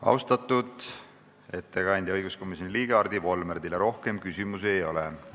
Austatud ettekandja, õiguskomisjoni liige Hardi Volmer, teile rohkem küsimusi ei ole.